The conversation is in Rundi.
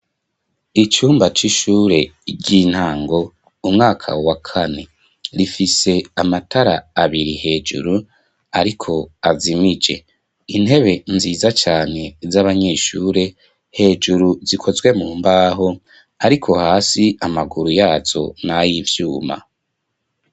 Icumba c'ishure ry'intango umwaka wa kane. Rifise amatara abiri hejuru ariko azimije, intebe nziza cane z'abanyeshure hejuru zikozwe mu mbaho ariko hasi amaguru yazo nay'ivyuma.